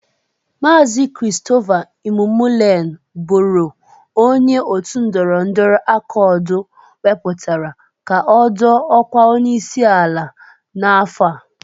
Maazi Kristofa Imụmolen bụru onye Otu ndọrọndọrọ Akọd wepụtara ka ọ dọọ ọkwa onyeisi ala. n'afọ a.